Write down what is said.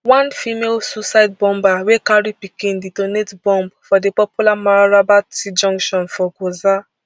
one female suicide bomber wey carry pikin detonate bomb for di popular mararaba t junction for gwoza